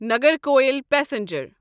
Nagercoil passenger